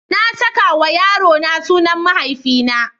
Na saka wa yarona sunan mahaifina.